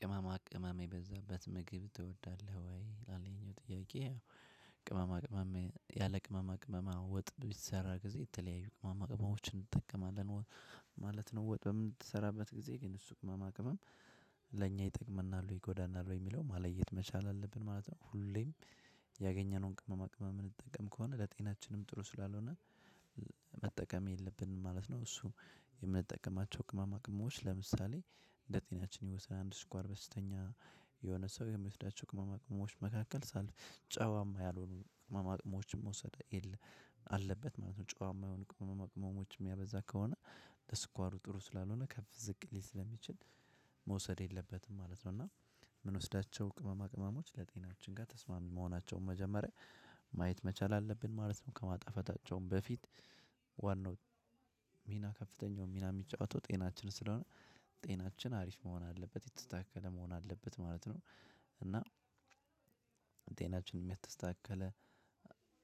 ቅመማ ቅመም የበዛበት ምግብ ትወዳለህ ወይ? ላለኝ ጥያቄ ያው ቅመማ ቅመም ያለ ቅመማ ቅመም ወጥ ቢሰራ ጊዜ የተለያዩ ቅመማ ቅመሞችን እንጠቀማለን ማለት ነው። ወጥ በምትሰራበት ጊዜ ግን እሱ ቅመማ ቅመም ለእኛ ይጠቅመናል ይጎዳናል ወይ የሚለው መለየት መቻል አለብን ማለት ነው። ሁሌም ያገኘነውን ቅመማ ቅመም ምንጠቀም ከሆነ ለጤናችንም ጥሩ ስላልሆነ የለብንም ማለት ነው። እሱ የምንጠቀማቸው ቅመማ ቅመሞዎች ለምሳሌ እንደ ጤናችን ይወሰናል አንድ ስኳር በሽተኛ የሆነ ሰው የሚወስዳቸው ቅመማ ቅመሞች መካከል ጨዋማ ያልሆኑ ቅመማ ቅመሞችን መውሰድ አለበት ማለት ነው። ጨዋማ የሆኑ ቅመማ ቅመሞችን ሚያበዛ ከሆነ ለስኳሩ ጥሩ ስላልሆነ ከፍ ዝቅ ሊል ስለሚችል መውሰድ የለበትም ማለት ነው። እና የምንወስዳቸው ቅመማ ቅመሞች ለጤናችን ጋር ተስማሚ መሆናቸውን መጀመሪያ ማየት መቻል አለብን ማለት ነው። ከማጣፈታቸውም በፊት ዋናው ሚና ከፍተኛው ሚና ሚጫወተው ጤናችን ስለሆነ ጤናችን አሪፍ መሆን አለበት የተስተካከለ መሆን አለበት ማለት ነው። እና ጤናችንም የተስተካከለ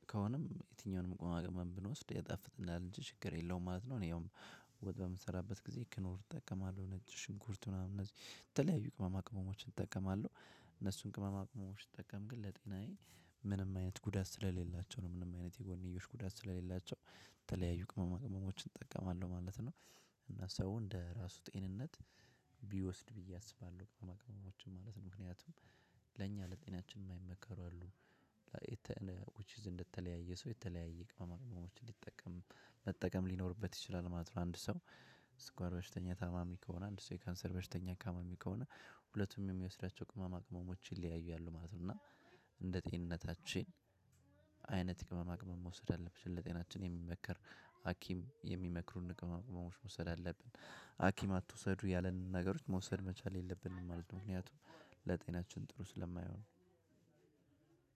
የትኛውንም ቅመማ ቅመም ብንወስድ የጣፍጥናል እንጂ ችግር የለውም ማለት ነው። እኔ ያውም ወጥ በምሰራበት ጊዜ ክኖር እጠቀማለሁ ነጭ ሽንኩርት ምናምን እነዚህ የተለያዩ ቅመማ ቅመሞችን እጠቀማለሁ። እነሱን ቅመማ ቅመሞች ስጠቀም ግን ለጤናዬ ምንም አይነት ጉዳት ስለሌላቸው ነው ምንም አይነት የጎንዮሽ ጉዳት ስለሌላቸው የተለያዩ ቅመማ ቅመሞችን እጠቀማለሁ ማለት ነው። እና ሰው እንደ ራሱ ጤንነት ቢወስድ ብዬ አስባለሁ ቅመማ ቅመሞችን ማለት ነው። ምክንያቱም ለእኛ ለጤናችን ማይመከሩ አሉ። እንደተለያየ ሰው የተለያየ ቅመም ቅመሞችን ሊጠቀም መጠቀም ሊኖርበት ይችላል ማለት ነው። አንድ ሰው ስኳር በሽተኛ ታማሚ ከሆነ አንድ ሰው የካንሰር በሽተኛ ታማሚ ከሆነ ሁለቱም የሚወስዳቸው ቅመማ ቅመሞችን ይለያያሉ ማለት ነው። እና እንደ ጤንነታችን አይነት ቅመማ ቅመም መውሰድ አለብሽ ለጤናችን የሚመከር ሀኪም የሚመክሩን ቅመማ ቅመሞች መውሰድ አለብን ሀኪም አትውሰዱ ያለንን ነገሮች መውሰድ መቻል የለብንም ማለት ነው። ምክንያቱም ለጤናችን ጥሩ ስለማይሆን።